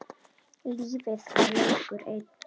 Lífið var leikur einn.